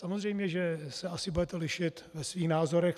Samozřejmě že se asi budete lišit ve svých názorech.